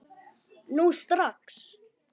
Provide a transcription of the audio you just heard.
Nú strax!